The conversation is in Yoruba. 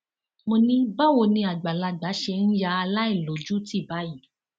mo ní báwo ni àgbàlagbà ṣe ń ya aláìlójútì báyìí